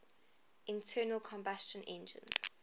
internal combustion engines